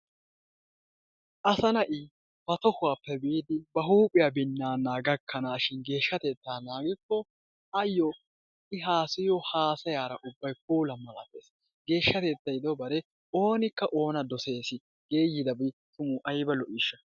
Asaa naati ba tohuwa biradhdhiyapp biidi huuphiya binnaana gakkanaashin geeshshatettaa naagikko ayyo I haasayiyo haasayara ubbay puula malatees. Geeshshatettay dobare oonikka oona dosees. Geeyidabi tuma ayba lo'iishsha!